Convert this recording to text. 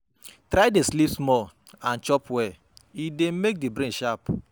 Try de sleep small and chop well, e de make di brain sharp